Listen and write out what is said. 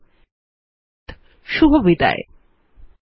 এই টিউটোরিয়াল এ অংশগ্রহন করার জন্য ধন্যবাদ